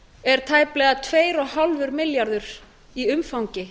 er tæplega tvö og hálfur milljarður í umfangi